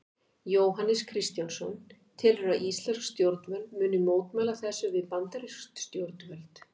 Jóhannes Kristjánsson: Telurðu að íslensk stjórnvöld muni mótmæla þessu við bandarísk stjórnvöld?